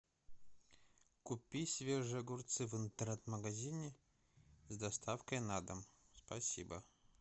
купи свежие огурцы в интернет магазине с доставкой на дом спасибо